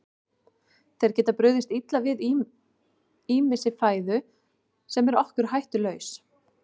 Þeir geta brugðist illa við ýmissi fæðu sem er okkur hættulaus.